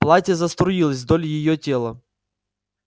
платье заструилось вдоль её тела